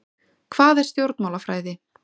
Hvað er stjórnmálafræði?